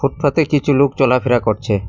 পথে কিছু লোক চলাফেরা করছে।